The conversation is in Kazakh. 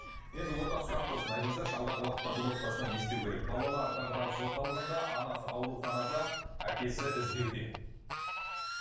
енді ортақ сұрақ болсын айтыңыздаршы алдағы уақытта бұл отбасына не істеу керек балалар дағдарыс орталығында анасы ауруханда әкесі іздеуде